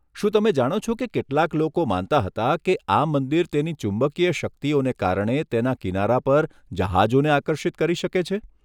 શું તમે જાણો છો કે કેટલાક લોકો માનતા હતા કે આ મંદિર તેની ચુંબકીય શક્તિઓને કારણે તેના કિનારા પર જહાજોને આકર્ષિત કરી શકે છે?